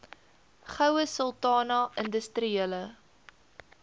goue sultana industriele